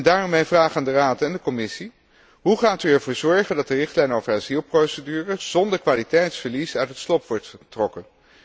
Daarom mijn vraag aan de Raad en de Commissie hoe gaat u ervoor zorgen dat de richtlijn over asielprocedures zonder kwaliteitsverlies uit het slop wordt getrokken?